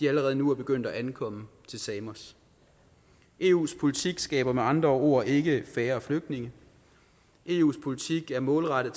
allerede nu er begyndt at ankomme til samos eus politik skaber med andre ord ikke færre flygtninge eus politik er målrettet